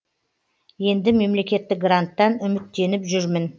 енді мемлекеттік гранттан үміттеніп жүрмін